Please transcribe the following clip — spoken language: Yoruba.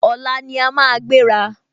Ọ̀la ní a máa gbéra